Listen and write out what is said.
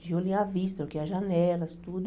Tijolinho à vista, eu queria janelas, tudo.